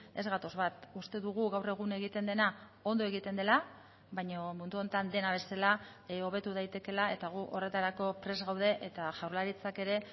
ez gatoz bat uste dugu gaur egun egiten dena ondo egiten dela baina mundu honetan dena bezala hobetu daitekeela eta gu horretarako prest gaude eta jaurlaritzak ere